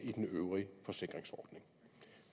i den øvrige forsikringsordning